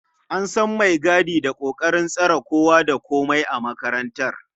An san maigadi da ƙoƙarin tsare kowa da komai a makarantar.